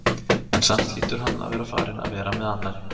En samt hlýtur hann að vera farinn að vera með annarri.